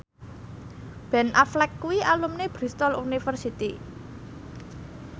Ben Affleck kuwi alumni Bristol university